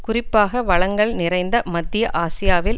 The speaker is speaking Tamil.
குறிப்பாக வளங்கள் நிறைந்த மத்திய ஆசியாவில்